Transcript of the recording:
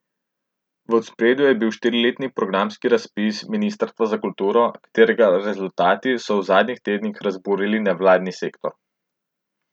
V ospredju je bil štiriletni programski razpis ministrstva za kulturo, katerega rezultati so v zadnjih tednih razburili nevladni sektor.